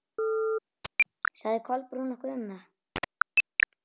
Sagði Kolbrún nokkuð um það?